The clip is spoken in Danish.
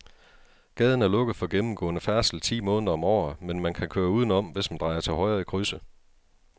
Gaden er lukket for gennemgående færdsel ti måneder om året, men man kan køre udenom, hvis man drejer til højre i krydset.